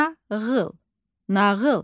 Nağıl, nağıl.